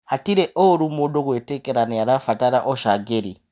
Hatirĩ ũru mũndũ gwĩtĩkĩra nĩarabatara ũcangĩri.